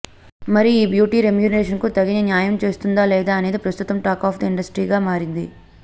మరి ఈ బ్యూటీ రెమ్యునరేషన్కు తగిన న్యాయం చేస్తుందా లేదా అనేది ప్రస్తుతం టాక్ ఆఫ్ ది ఇండస్ట్రీగా మారింది